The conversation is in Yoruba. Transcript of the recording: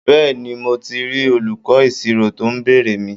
Bẹ́ẹ̀ni, mo ti rí olùkọ́ ìṣirò tó ń béèrè mi?